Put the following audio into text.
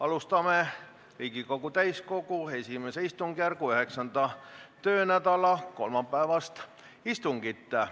Alustame Riigikogu täiskogu I istungjärgu 9. töönädala kolmapäevast istungit.